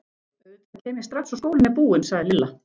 Auðvitað kem ég strax og skólinn er búinn sagði Lilla.